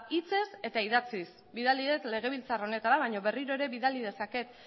hitzez eta idatziz bidali dut legebiltzar honetara baina berriro ere bidali dezaket